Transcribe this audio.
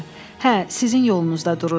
Hə, sizin yolunuzda dururdum.